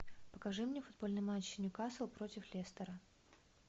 покажи мне футбольный матч ньюкасл против лестера